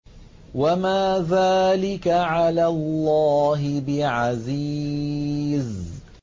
وَمَا ذَٰلِكَ عَلَى اللَّهِ بِعَزِيزٍ